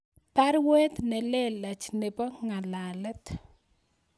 Baruet nelelach nebo ngalalet